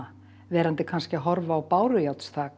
verandi kannski að horfa á